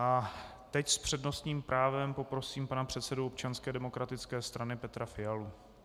A teď s přednostním právem poprosím pana předsedu Občanské demokratické strany Petra Fialu.